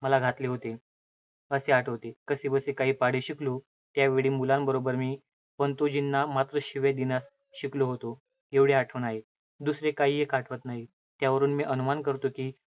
मला घातले होते असे आठवते. कसेबसे काही पाढे शिकलो. त्यावेळी मुलांबरोबर मी पंतोजींना मात्र शिव्या देण्यास शिकलो होतो, एवढी आठवण आहे. दुसरे काहीएक आठवत नाही. त्यावरून मी अनुमान करतो, की